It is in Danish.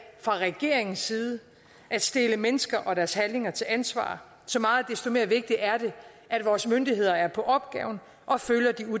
fra regeringens side at stille mennesker og deres handlinger til ansvar så meget desto mere vigtigt er det at vores myndigheder er på opgaven og følger de